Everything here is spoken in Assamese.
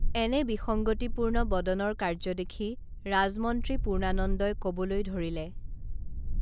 এনে বিসঙ্গতি পূৰ্ন বদনৰ কাৰ্য্য দেখি ৰাজমন্ত্ৰী পূৰ্নানন্দই কবলৈ ধৰিলে